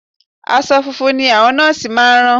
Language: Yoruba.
Aṣọ funfun ni àwọn Nọ́ọ̀sì máa rán